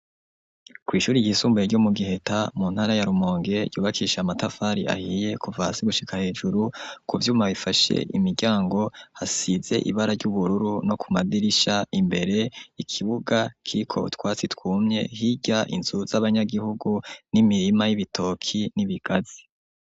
Kw'ishure ryisumbuye ryo mu giheta mu ntara ya rumonge yubakisha amatafari ahiye kuva hasi gushika hejuru, kuvyuma bifashe imiryango hasize ibara ry'ubururu no ku madirisha, imbere ikibuga kiriko utwatsi twumye hirya inzu z'abanyagihugu n'imirima y'ibitoke n'ibigazi.